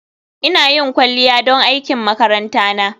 Ina yin kwalliya don aikin makaranta na